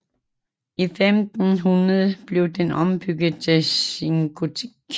I 1500 blev den ombygget til sengotik